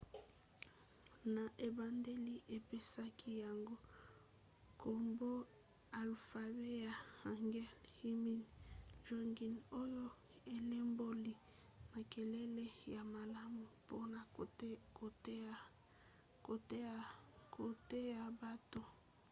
na ebandeli apesaki yango nkombo alfabe ya hangeul hunmin jeongeum oyo elimboli makelele ya malamu mpona koteya bato